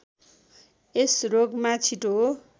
यस रोगमा छिटो